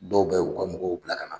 Dɔw bɛ u ka mɔgɔw bila ka na